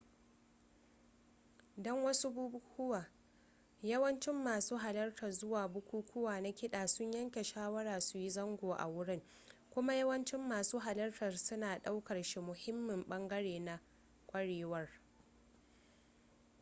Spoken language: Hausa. don wasu bukukuwa yawancin masu halarta zuwa bukukuwa na kiɗa sun yanke shawara su yi zango a wurin kuma yawancin masu halarta suna ɗaukar shi muhimmin ɓangare na ƙwarewar